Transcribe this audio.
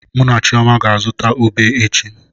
Mụ na Chioma ga-azụta ube echi.